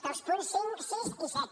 dels punts cinc sis i set